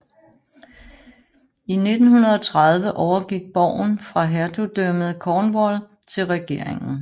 I 1930 overgik borgen fra Hertugdømmet Cornwall til regeringen